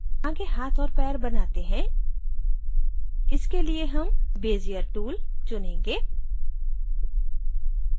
आगे हाथ और पैर बनाते हैं इसके लिए हम bezier tool चुनेंगे